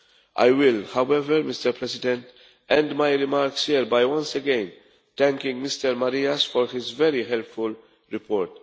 I will however, Mr President, end my remarks by once again thanking Mr Marias for his is very helpful report.